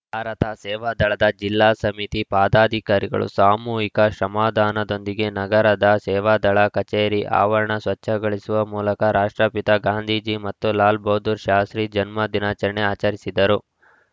ಭಾರತ ಸೇವಾದಳದ ಜಿಲ್ಲಾ ಸಮಿತಿ ಪದಾಧಿಕಾರಿಗಳು ಸಾಮೂಹಿಕ ಶ್ರಮದಾನದೊಂದಿಗೆ ನಗರದ ಸೇವಾದಳ ಕಚೇರಿ ಆವರಣ ಸ್ವಚ್ಛಗಳಿಸುವ ಮೂಲಕ ರಾಷ್ಟ್ರಪಿತ ಗಾಂಧೀಜಿ ಮತ್ತು ಲಾಲ್‌ ಬಹದ್ದೂರ್‌ ಶಾಸ್ತ್ರಿ ಜನ್ಮದಿನಾಚರಣೆ ಆಚರಿಸಿದರು